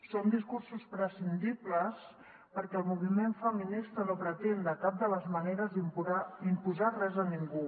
són discursos prescindibles perquè el moviment feminista no pretén de cap de les maneres imposar res a ningú